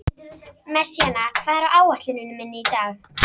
Messíana, hvað er á áætluninni minni í dag?